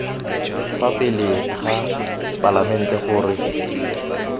fa pele ga palamente gore